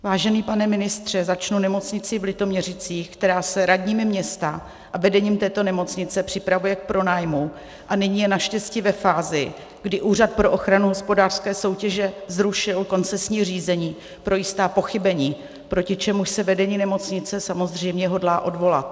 Vážený pane ministře, začnu nemocnicí v Litoměřicích, která se radními města a vedením této nemocnice připravuje k pronájmu a nyní je naštěstí ve fázi, kdy Úřad pro ochranu hospodářské soutěže zrušil koncesní řízení pro jistá pochybení, proti čemuž se vedení nemocnice samozřejmě hodlá odvolat.